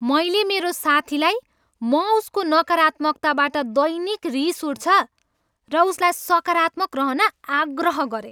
मैले मेरो साथीलाई म उसको नकारात्मकताबाट दैनिक रिस उठ्छ र उसलाई सकारात्मक रहन आग्रह गरेँ।